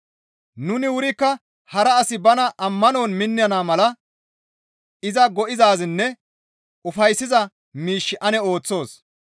Nuni wurikka hara asi ba ammanon minnana mala iza go7izaazinne ufayssiza miish ane ooththoos.